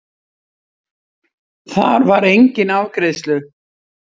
Þar var enginn afgreiðslu